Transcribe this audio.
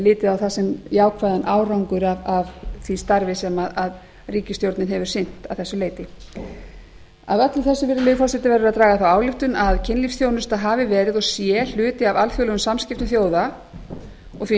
litið á það sem jákvæðan árangur af því starfi sem ríkisstjórnin hefur sinnt að þessu leyti af öllu þessu virðulegi forseti verður að draga þá ályktun að kynlífsþjónusta hafi verið og sé hluti af alþjóðlegum samskiptum þjóða og því